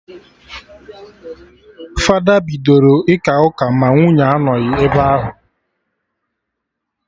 Fada bidoro ịka ụka ma nwunye anọghị ebe ahụ